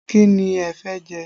Kí ni ẹ fẹ́ jẹ?